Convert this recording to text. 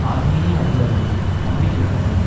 ஆர்மீனிய அதிகாரிகள் நம்பிக்கையுடன் உள்ளனர்